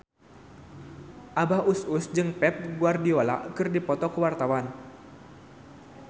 Abah Us Us jeung Pep Guardiola keur dipoto ku wartawan